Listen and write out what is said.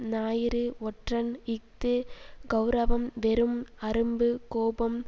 ஞாயிறு ஒற்றன் இஃது கெளரவம் வெறும் அரும்பு கோபம்